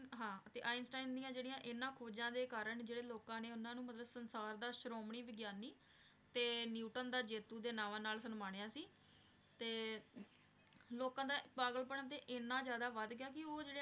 ਹਾਂ ਤੇ ਆਈਨਸਟੀਨ ਦੀਆਂ ਜਿਹੜੀਆਂ ਇਨ੍ਹਾਂ ਖੋਜਾਂ ਦੇ ਕਾਰਨ ਜਿਹੜੇ ਲੋਕਾਂ ਨੇ ਉਹਨਾਂ ਨੂੰ ਮਤਲਬ ਸੰਸਾਰ ਦਾ ਸ਼੍ਰੋਮਣੀ ਵਿਗਿਆਨੀ ਤੇ ਨਿਊਟਨ ਦਾ ਜੇਤੂ ਦੇ ਨਾਵਾਂ ਨਾਲ ਸਨਮਾਨਿਆ ਸੀ, ਤੇ ਲੋਕਾਂ ਦਾ ਪਾਗਲਪਨ ਤੇ ਇੰਨਾ ਜ਼ਿਆਦਾ ਵੱਧ ਗਿਆ ਕਿ ਉਹ ਜਿਹੜੇ